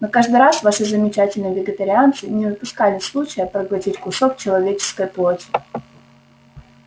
но каждый раз ваши замечательные вегетарианцы не упускали случая проглотить кусок человеческой плоти